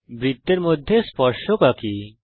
বৃত্তের মধ্যে স্পর্শক আঁকি